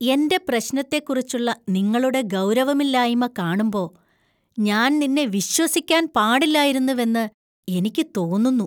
എന്‍റെ പ്രശ്നത്തെക്കുറിച്ചുള്ള നിങ്ങളുടെ ഗൗരവമില്ലായ്മ കാണുമ്പോ ഞാൻ നിന്നെ വിശ്വസിക്കാൻ പാടില്ലായിരുന്നുവെന്ന് എനിക്ക് തോന്നുന്നു.